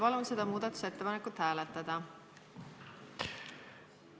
Ma palun seda muudatusettepanekut hääletada!